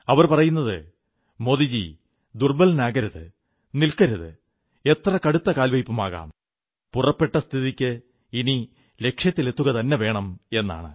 അവർ പറയുന്നത് മോദീജീ ദുർബ്ബലനാകരുത് നിൽക്കരുത് എത്ര കടുത്ത കാൽവെയ്പ്പും ആകാം പുറപ്പെട്ട സ്ഥിതിക്ക് ഇനി ലക്ഷ്യത്തിലെത്തുകതന്നെ വേണം എന്നാണ്